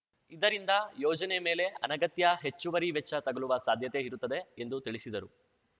ಇದರಿಂದ ಯೋಜನೆ ಮೇಲೆ ಅನಗತ್ಯ ಹೆಚ್ಚುವರಿ ವೆಚ್ಚ ತಗುಲುವ ಸಾಧ್ಯತೆ ಇರುತ್ತದೆ ಎಂದು ತಿಳಿಸಿದರು